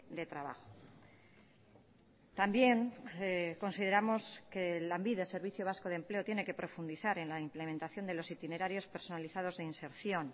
de trabajo también consideramos que lanbide servicio vasco de empleo tiene que profundizar en la implementación de los itinerarios personalizados de inserción